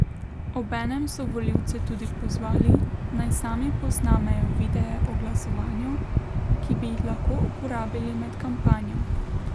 Obenem so volivce tudi pozvali, naj sami posnamejo videe o glasovanju, ki bi jih lahko uporabili med kampanjo.